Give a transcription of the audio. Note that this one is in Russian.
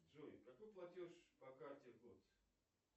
джой какой платеж по карте в год